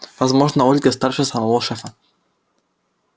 возможно ольга старше самого шефа